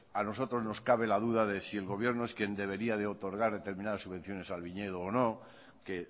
a nosotros nos cabe la duda de si el gobierno no es quien debería de otorgar determinadas subvenciones al viñedo o no que